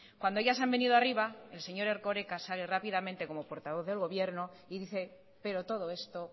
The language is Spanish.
cuando ya se han venido arriba el señor erkoreka sale rápidamente como portavoz del gobierno y dice pero todo esto